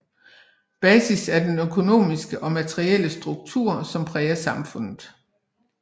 Basis er den økonomiske og materielle struktur som præger samfundet